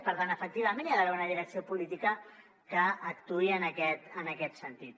per tant efectivament hi ha d’haver una direcció política que actuï en aquest sentit